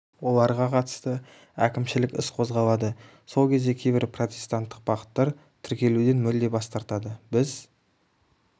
оларға қатысты әкімшілік іс қозғалады сол кезде кейбір протестанттық бағыттар тіркелуден мүлде бас тартады біз